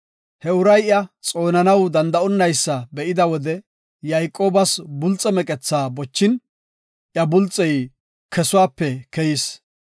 He uray iya xoonanaw danda7onaysa be7ida wode Yayqoobas bulxiya bochin, iya bulxey kesuwape keyis.